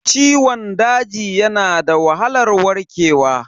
Ciwon daji yana da wahalar warkewa.